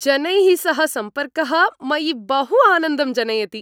जनैः सह सम्पर्कः मयि बहु आनन्दं जनयति।